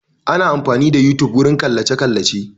Ana amfani da yotube wurin kallace kallace